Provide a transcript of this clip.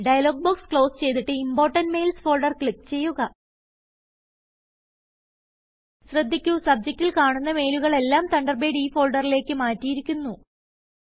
dialogue box close ചെയ്തിട്ട് important mails folder click ചെയ്യുക ശ്രദ്ധിക്കുസബ്ജക്റ്റിൽ കാണുന്ന മെയിലുകൾ എല്ലാം തണ്ടർബേഡ് ഈ ഫോൾഡറിലേക്ക് മാറ്റിയിരിക്കുന്നു